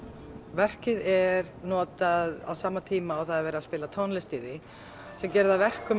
verkið er notað á sama tíma og það er verið að spila tónlist í því sem gerir það að verkum